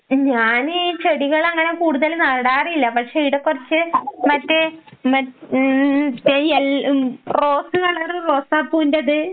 ഞാൻ ഈ ചെടികളങ്ങനെ കൂടുതല് നടാറില്ല പക്ഷെ ഇവിടെ കുറച്ച് മറ്റേ മ ഉം ചെ അൽ ഉം റോസ് കളറ് റോസാപ്പൂവിന്റേത്